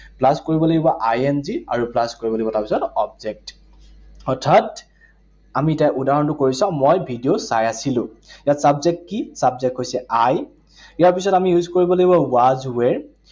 Plus কৰিব লাগিব I N G আৰু plus কৰিব লাগিব তাৰপিছত object । অৰ্থাৎ আমি এতিয়া উদাহৰণটো কৰি চাওঁ। মই ভিডিঅ চাই আছিলো। ইয়াত subject কি, subject হৈছে I, ইয়াৰ পিছত আমি উল্লেখ কৰিব লাগিব was were